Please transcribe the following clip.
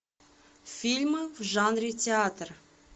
фильмы в жанре театр